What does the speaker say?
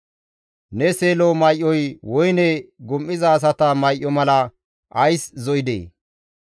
Ne seelo may7oy woyne gum7iza asata may7o mala ays zo7idee?